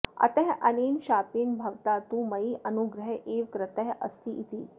अतः अनेन शापेन भवता तु मयि अनुग्रहः एव कृतः अस्ति इति